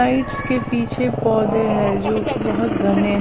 Sides के पीछे पौधे हैं जो कि बहुत घने हैं।